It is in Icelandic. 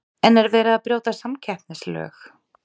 En er verið að brjóta samkeppnislög?